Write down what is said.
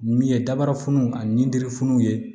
Min ye dabarafunun ani dirifunw ye